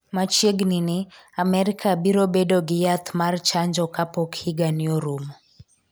machiegni ni Amerika biro bedo gi yath kat chanjo kapok higa ni orumo